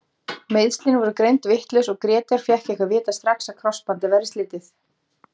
Meiðslin voru greind vitlaus og Grétar fékk ekki að vita strax að krossbandið væri slitið.